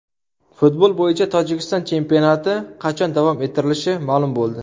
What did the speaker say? Futbol bo‘yicha Tojikiston chempionati qachon davom ettirilishi ma’lum bo‘ldi.